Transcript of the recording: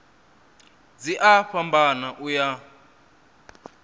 dzi a fhambana u ya